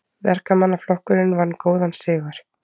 Verkamannaflokkurinn vann góðan sigur